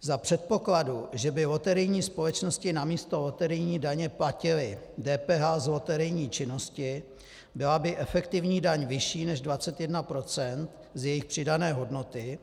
Za předpokladu, že by loterijní společnosti namísto loterijní daně platily DPH z loterijní činnosti, byla by efektivní daň vyšší než 21 % z jejich přidané hodnoty,